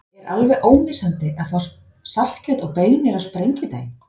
Er alveg ómissandi að fá saltkjöt og baunir á Sprengidaginn?